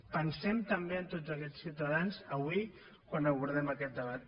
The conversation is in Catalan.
pensem també en tots aquests ciutadans avui quan abordem aquest debat